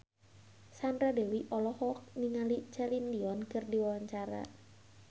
Sandra Dewi olohok ningali Celine Dion keur diwawancara